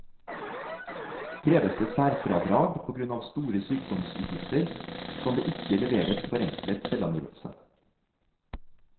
Kreves det særfradrag på grunn av store sykdomsutgifter, kan det ikke leveres forenklet selvangivelse.